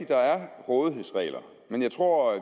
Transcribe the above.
der er rådighedsregler men jeg tror at